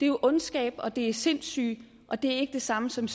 jo ondskab og det er sindssyge og det er ikke det samme som